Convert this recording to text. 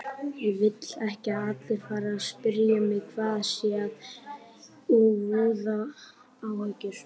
Ég vil ekki að allir fari að spyrja mig hvað sé að og voða áhyggjur.